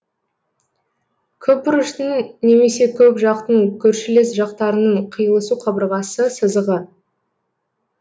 көпбұрыштың немесе көпжақтың көршілес жақтарының қиылысу қабырғасы сызығы